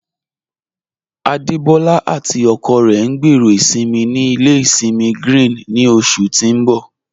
Adebọla àti ọkọ rẹ ń gbẹ́rọ́ isinmí ní ilẹ̀ isinmí Grín ni oṣù tí ń bọ̀.